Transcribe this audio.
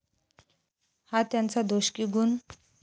हा त्यांचा दोष की गुण?